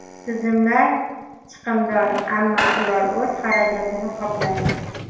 Tizimlar chiqimdor, ammo ular o‘z xarajatini qoplaydi.